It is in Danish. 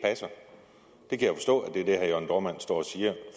herre jørn dohrmann står og siger